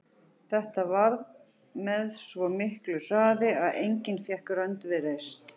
Þetta varð með svo miklu hraði að enginn fékk rönd við reist.